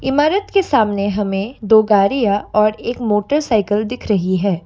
इमारत के सामने हमें दो गाड़ियां और एक मोटरसाइकिल दिख रही है।